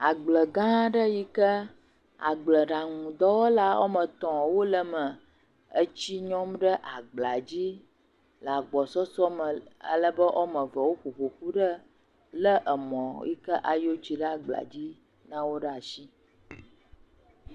Agble gã aɖe yike agble ɖaŋu dɔwɔla wòa me etɔ wole eme le tsi nyɔm ɖe agblea dzi le agbɔsɔsɔ me, alebe wòa evee wò ƒoƒoƒu ɖe emɔ yike eyɔ tsi ɖe gblea dzi lawo ɖe asi